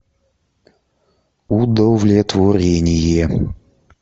удовлетворение